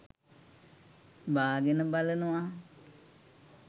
බාගෙන බලනවා